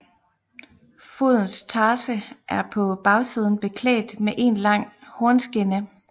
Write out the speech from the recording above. Fodens tarse er på bagsiden beklædt med én lang hornskinne